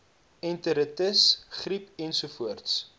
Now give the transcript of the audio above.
enteritis griep ensovoorts